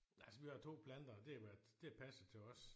Altså vi har 2 planter og det har været det har passet til os